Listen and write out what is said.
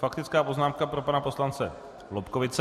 Faktická poznámka pro pana poslance Lobkowicze.